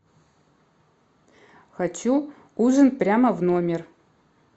хочу ужин прямо в номер